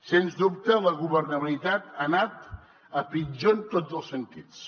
sens dubte la governabilitat ha anat a pitjor en tots els sentits